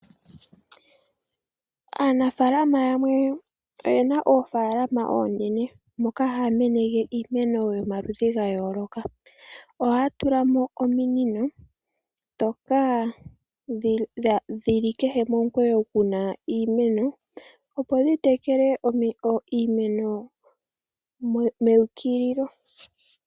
Aanafaalama yamwe oye na oofalama oonene moka haya meneke iimeno yomaludhi ga yooloka, oha ya tula mo ominino ndhoka dhi li kehe momukweyo gu na iimeno opo dhi tekele iimeno me ukililo.